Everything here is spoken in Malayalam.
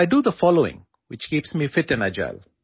അതിനാൽ ഞാൻ ചെയ്യുന്ന കാര്യങ്ങൾ എന്തൊക്കെയാണെന്നു പറയാം